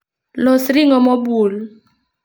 Los ring'o mobul